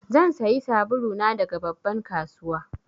Zan sayi sabulu na daga babban kasuwa.